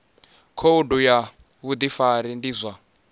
khoudu ya vhudifari ndi zwa